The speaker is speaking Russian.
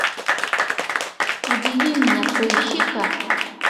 удиви меня поищи ка